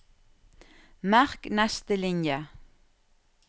Merk neste linje